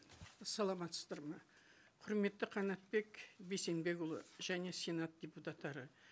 саламатсыздар ма құрметті қанатбек бейсенбекұлы және сенат депутаттары